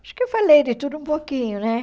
Acho que eu falei de tudo um pouquinho, né?